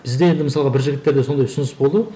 бізде енді мысалға бір жігіттерде сондай ұсыныс болды